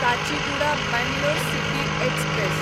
Kachiguda Bangalore city express